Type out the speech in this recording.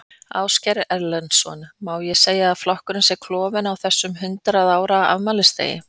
Ásgeir Erlendsson: Má segja að flokkurinn sé klofinn á þessum hundrað ára afmælisdegi?